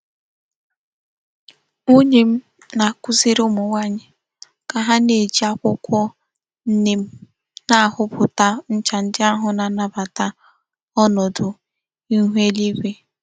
Nwunye m na-akuziri umu nwanyi ka ha na-eji akwukwo neem na-auputa ncha ndi ahu na-anabata onodu ihu eluigwe.